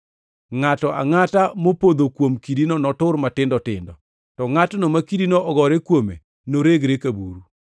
Ngʼato angʼata mopodho kuom kidino notur matindo tindo, to ngʼatno ma kidino ogore kuome noregre ka buru.”